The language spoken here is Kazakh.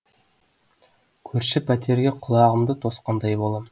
көрші пәтерге құлағымды тосқандай болам